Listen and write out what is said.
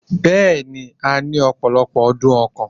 Bẹ́ẹ̀ni, a ní opolopo dun okan